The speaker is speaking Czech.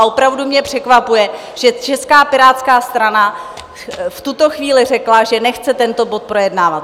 A opravdu mě překvapuje, že Česká pirátská strana v tuto chvíli řekla, že nechce tento bod projednávat.